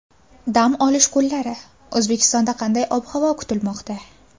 Dam olish kunlari O‘zbekistonda qanday ob-havo kutilmoqda?